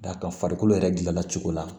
Da ka farikolo yɛrɛ dilanna cogo la